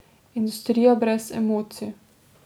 Industrija brez emocij.